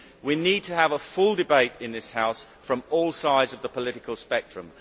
We need to have a full debate in this House from all sides of the political spectrum.